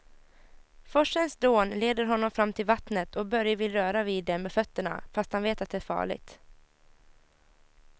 Forsens dån leder honom fram till vattnet och Börje vill röra vid det med fötterna, fast han vet att det är farligt.